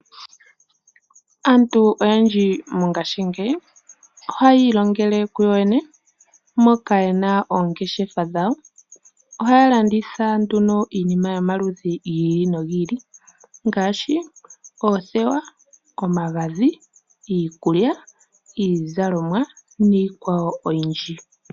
Aantu oyendji mongashingeyi ohayi ilongele kuyoyene moka ye na oongeshefa dhawo, ohaya landitha nduno iinima yomaludhi gi ili nogi ili ngaashi: oothewa, omagadhi, iikulya, iizalomwa niikwawo oyindji.